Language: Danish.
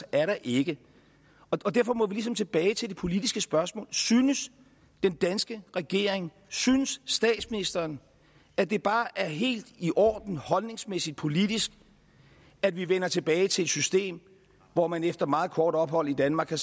er der ikke og derfor må vi ligesom tilbage til det politiske spørgsmål synes den danske regering synes statsministeren at det bare er helt i orden holdningsmæssigt politisk at vi vender tilbage til et system hvor man efter meget kort ophold i danmark kan